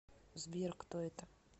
сбер кто это